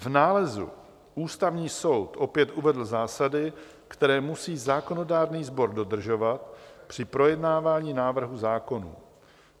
V nálezu Ústavní soud opět uvedl zásady, které musí zákonodárný sbor dodržovat při projednávání návrhů zákonů.